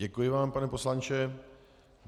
Děkuji vám, pane poslanče.